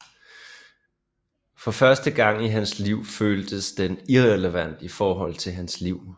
For første gang i hans liv føltes den irrelevant i forhold til hans liv